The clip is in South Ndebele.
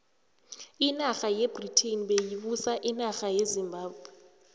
inarha yebritain beyibusa inarha yezimbabwe